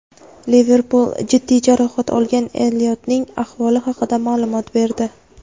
"Liverpul" jiddiy jarohat olgan Elliotning ahvoli haqida ma’lumot berdi.